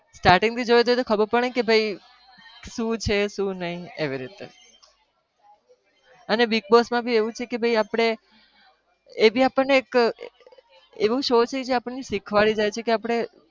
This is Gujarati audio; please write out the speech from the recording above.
starting થી જોયું હોય ઓ ખબર પડે તો ને ભાઈ શું છે, શું નહી, એવી રીતે અને bigg boss માં भी એવું જ છે કે એ भी આપણને એક એવું show છે જે આપણને શીખવાડી જાય છે કે આપણે